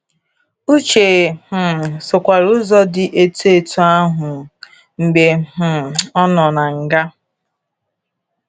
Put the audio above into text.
Uche um sokwara ụzọ di etu etu ahụ mgbe um ọ nọ um na nga.